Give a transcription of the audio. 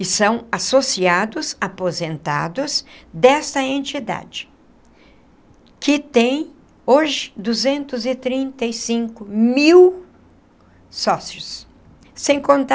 E são associados, aposentados, dessa entidade, que tem hoje duzentos e trinta e cinco mil sócios, sem contar